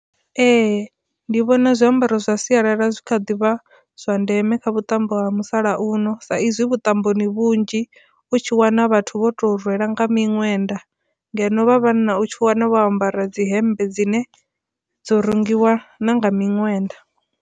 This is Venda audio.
Ee, ndi vhona zwiambaro zwa sialala zwi kha ḓivha zwa ndeme kha vhuṱambo ha musalauno sa izwi vhuṱamboni vhunzhi u tshi wana vhathu vho to rwela nga miṅwenda ngeno vha vhanna u tshi wana vho ambara dzihembe dzine dzo rengiwa na nga miṅwenda.